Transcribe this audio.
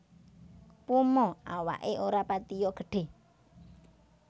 Puma awaké ora patiya gedhé